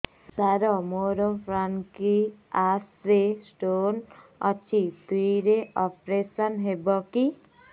ସାର ମୋର ପାନକ୍ରିଆସ ରେ ସ୍ଟୋନ ଅଛି ଫ୍ରି ରେ ଅପେରସନ ହେବ କି